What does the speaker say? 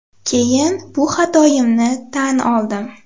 Keyin bu xatoyimni tan oldim.